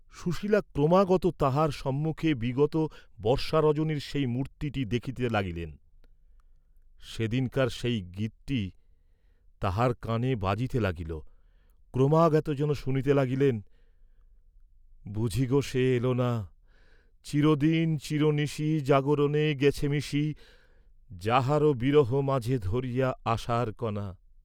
সুশীলা ক্রমাগত তাঁহার সম্মুখে বিগত বর্ষারজনীর সেই মূর্ত্তিটী দেখিতে লাগিলেন, সেদিনকার সেই গীতটী তাঁহার কাণে বাজিতে লাগিল, ক্রমাগত যেন শুনিতে লাগিলেন, বুঝি গো সে এল না, চির দিন চির নিশি জাগরণে গেছে মিশি যাহার বিরহ মাঝে ধরিয়া আশার কণা।